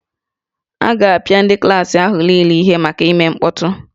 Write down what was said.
A ga-apịa ndị klaasị ahụ niile ihe maka ime mkpọtụ